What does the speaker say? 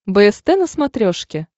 бст на смотрешке